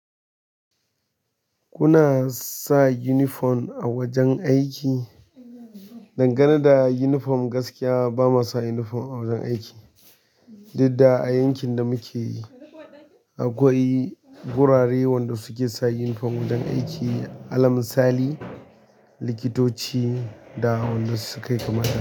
Kuna sa uniform a wajen aiki? Nan garin da uniform gaskiya ba muwa sa uniform a wajen aiki duk da a aiƙin da muke yi akwai wurare wanda suke sa uniform wajen aiki, alamin sali, likitoci da wanda su kai kamar.